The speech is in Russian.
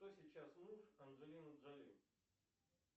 кто сейчас муж анджелины джоли